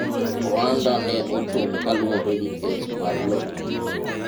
ohanda ne ochung' kaluwore gi kes mar lowo